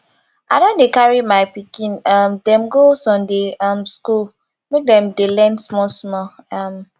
i don dey carry my pikin um dem go sunday um skool make dem dey learn small small um